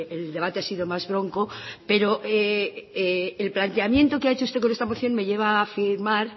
el debate ha sido más bronco pero el planteamiento que ha hecho usted con esta moción me lleva a afirmar